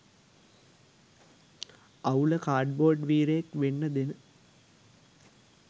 අවුල කාඩ්බෝඩ් වීරයෙක් වෙන්න දෙන